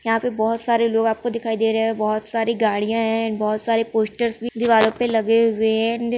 यहाँ पे बहुत सारे लोग आपको दिखाई दे रहे है बहुत सारे गाड़ियां है बहुत सारे पोस्टर्स भी दीवालों पे लगे हुए है।